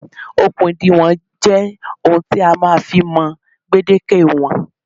Okùn ìdiwọ̀n jẹ́ ohun tí a máa ń fi ń mọ gbèdéke ìwọ̀n